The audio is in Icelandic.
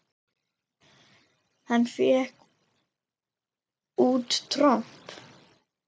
Hann fékk út tromp.